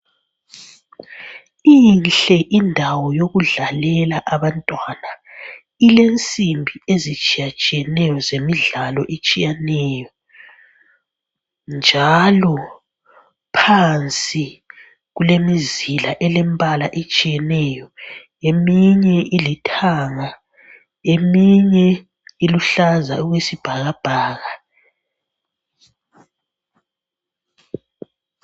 Inhle indawo yokudlalela abantwana, ilensimbi ezitshiya tshiyeneyo zemidlalo etshiyeneyo njalo phansi kulemizila elembala etshiyeneyo, eminye ilithanga, eminye iluhlaza okwesibhakabhaka.